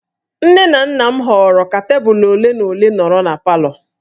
Nne na nna m họọrọ ka tebụl ole na ole nọrọ na palọ